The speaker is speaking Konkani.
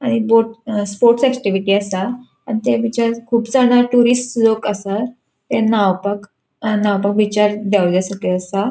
आणि बोट स्पोर्ट्स ऐक्टिविटी आसा आणि त्या बीचार खूब जाना टुरिस्ट लोक आसात. ते न्हांवपाक अ न्हांवपाक बीचार देवले सकयल आसा.